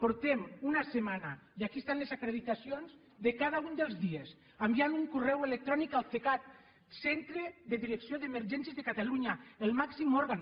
portem una setmana i aquí estan les acreditacions de cada un dels dies enviant un correu electrònic al cecat centre de direcció d’emergències de catalunya el màxim òrgan